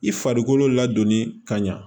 I farikolo ladonni ka ɲa